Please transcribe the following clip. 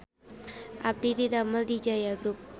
Abdi didamel di Jaya Group